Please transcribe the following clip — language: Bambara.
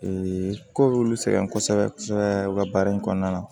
ko b'olu sɛgɛn kosɛbɛ kosɛbɛ u ka baara in kɔnɔna na